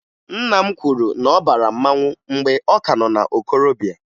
Nna m kwuru na ọ bara mmanwụ mgbe ọ ka nọ na okorobịa